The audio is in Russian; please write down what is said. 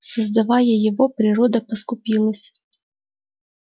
создавая его природа поскупилась